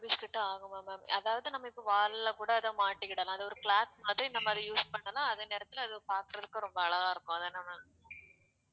six hundred rupees கிட்ட ஆகுமா ma'am அதாவது நம்ம இப்ப wall லுல கூட அதை மாட்டிக்கிடலாம் அது ஒரு clock மாதிரி நம்ப அத use பண்ணோம்னா அதே நேரத்துல அது பாக்குறதுக்கு ரொம்ப அழகா இருக்கும் அதன ma'am